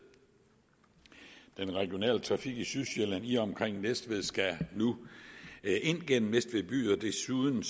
den regionale trafik i sydsjælland i og omkring næstved skal nu ind gennem næstved by og desuden